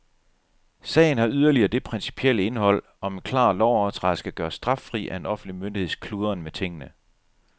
Sagen har yderligere det principielle indhold, om en klar lovovertrædelse kan gøres straffri af en offentlig myndigheds kludren med tingene.